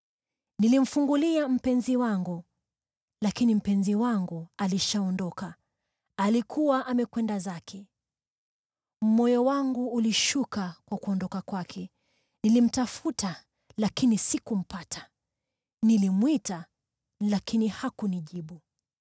Nilimfungulia mpenzi wangu, lakini mpenzi wangu alishaondoka; alikuwa amekwenda zake. Moyo wangu ulishuka kwa kuondoka kwake. Nilimtafuta lakini sikumpata. Nilimwita lakini hakunijibu.